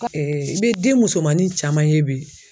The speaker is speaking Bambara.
i bɛ den musomanin caman ye bi.